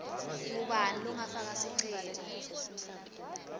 ngubani longafaka sicelo